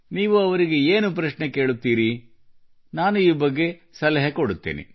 ನೀವು ಅವರಿಗೆ ಏನು ಪ್ರಶ್ನೆ ಕೇಳುತ್ತೀರಿ ಈ ಬಗ್ಗೆ ನಾನು ಸಲಹೆ ಕೊಡುತ್ತೇನೆ